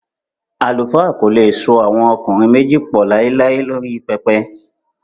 Àlùfáà kò le so àwọn ọkùnrin méjì pọ̀ láíláí lórí pẹpẹ